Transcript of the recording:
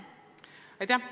Aitäh!